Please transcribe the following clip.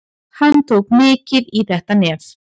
Hann tók mikið í þetta nef.